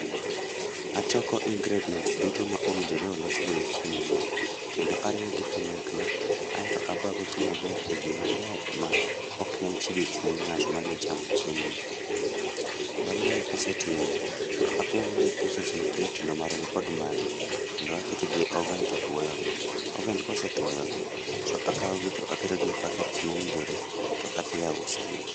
Achoko ingredients duto ma owinjore olos godo chiemo ni, kendo ariwo gi kanyakla, aeto abago gi maber e gima ler ma ok nyal chido chuny ng'at madwa chamo chiemo ni. Bang' mae kasetimo, to apogo gi e pieces matindotindo marom kod magi kendo aketo gi e oven totwoyo gi. oven kosetwoyo gi, to akaw gi to aketo gi e packets mowinjore, to adhi auso gi